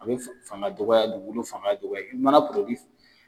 A bi fanga dɔgɔya dugukolo fanga dɔgɔya i mana